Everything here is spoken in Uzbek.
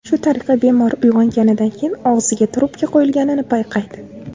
Shu tariqa bemor uyg‘onganidan keyin og‘ziga trubka qo‘yilganini payqaydi.